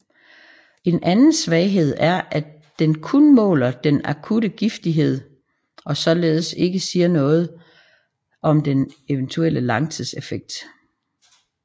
En anden svaghed er at den kun måler den akutte giftighed og således ikke siger noget om eventuelle langtidseffekter